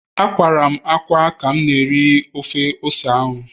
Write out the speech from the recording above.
Akwara m ákwá ka m na-eri ofe ose